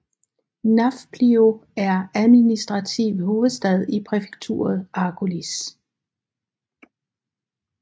Nafplio er administrativ hovedstad i præfekturet Argolis